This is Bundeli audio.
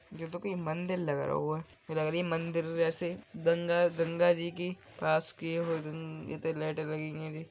यह तो कोई मंदिर लग रहो है। ये लग रही है मंदिर जैसे गंगा गंगा जी की पास की लाइटे लगी हुई है।